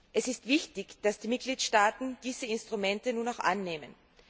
Es ist wichtig, dass die Mitgliedstaaten diese Instrumente nun auch annehmen.